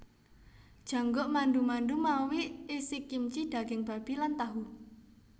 Jangguk mandu mandu mawi isikimchi daging babi lan tahu